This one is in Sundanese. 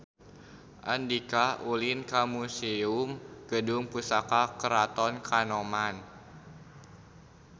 Andika ulin ka Museum Gedung Pusaka Keraton Kanoman